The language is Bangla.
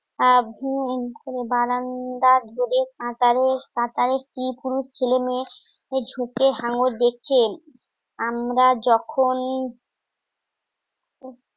অ্যা বারান্দার কাতারে কাতারে কি পুরুষ ছেলে মেয়ে ঝুঁকে হাঙ্গর দেখে আমরা যখন